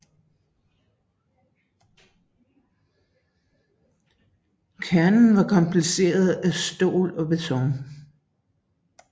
Kernen var kombineret af stål og beton